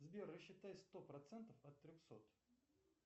сбер рассчитай сто процентов от трехсот